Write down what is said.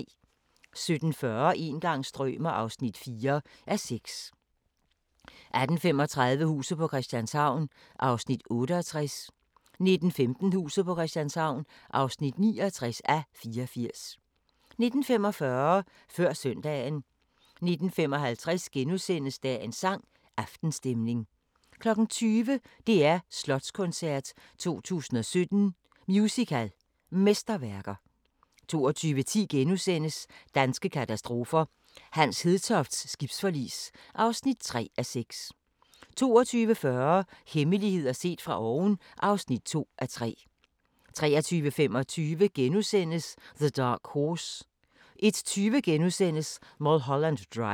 17:40: Een gang strømer ... (4:6) 18:35: Huset på Christianshavn (68:84) 19:15: Huset på Christianshavn (69:84) 19:45: Før søndagen 19:55: Dagens sang: Aftenstemning * 20:00: DR Slotskoncert 2017 – Musical Mesterværker 22:10: Danske katastrofer – Hans Hedtofts skibsforlis (3:6)* 22:40: Hemmeligheder set fra oven (2:3) 23:25: The Dark Horse * 01:20: Mulholland Drive *